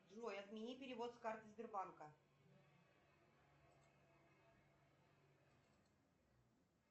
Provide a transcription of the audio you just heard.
джой отмени перевод с карты сбербанка